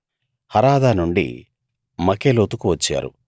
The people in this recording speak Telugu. హరాదా నుండి మకెలోతుకు వచ్చారు